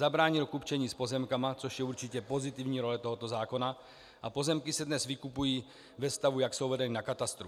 Zabránil kupčení s pozemky, což je určitě pozitivní role tohoto zákona, a pozemky se dnes vykupují ve stavu, jak jsou vedeny na katastru.